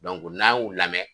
n'an y'u lamɛn.